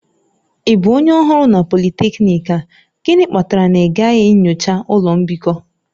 Ị bụ onye ọhụrụ na polytechnic a? Gịnị kpatara na ịgaghị nyocha ụlọ mbikọ?